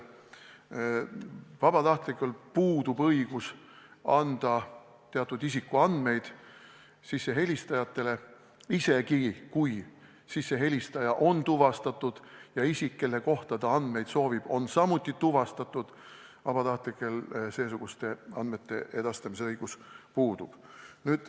Vabatahtlikul puudub õigus anda sissehelistajatele teatud isikuandmeid – isegi kui helistaja on tuvastatud ja isik, kelle kohta ta andmeid soovib, on samuti tuvastatud, seesuguste andmete edastamise õigus puudub.